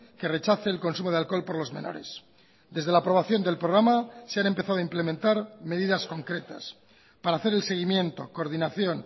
que rechace el consumo de alcohol por los menores desde la aprobación del programa se han empezado a implementar medidas concretas para hacer el seguimiento coordinación